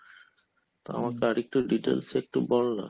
তো আমাকে আরেকটু details একটু বলনা ?